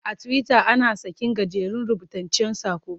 A Tiwita ana sakin gajeren rubutaccen saƙo.